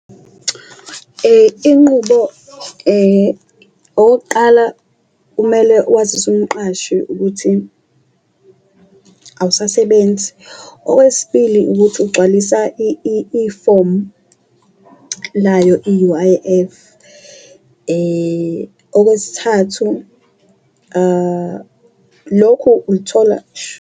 Inqubo okokuqala kumele wazise umqashi ukuthi awusasebenzi, owesibili ukuthi ugcwalisa ifomu layo i-U_I_F, okwesithathu lokhu ukuthola .